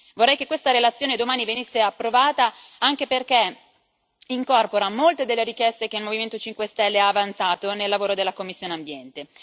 Vorrei che questa relazione domani venisse approvata anche perché incorpora molte delle richieste che il Movimento 5 Stelle ha avanzato nel lavoro della commissione per l'ambiente.